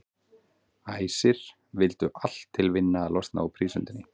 Æsir vildu allt til vinna að losna úr prísundinni.